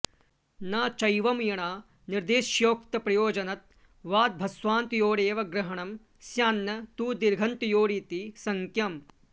न चैवं यणा निर्देशस्योक्तप्रयोजनत्वाद्भस्वान्तयोरेव ग्रहणं स्यान्न तु दीर्घन्तयोरिति शङ्क्यम्